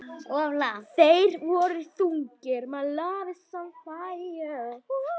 Þeir voru þungir.